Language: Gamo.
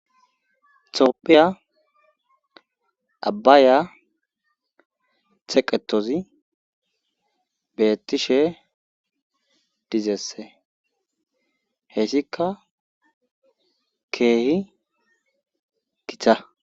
Toophiya abbaya theqetozi bettishe dizeesse heessika keehi githa